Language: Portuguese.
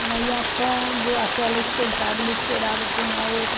Ela ia pondo, aquela esquentava, ele tirava, punha outra.